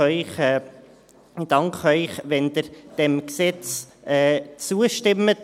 Ich danke Ihnen, wenn Sie diesem Gesetz zustimmen.